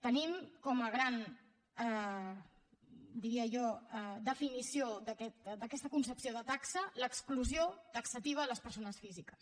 tenim com a gran diria jo definició d’aquesta concepció de taxa l’exclusió taxativa de les persones físiques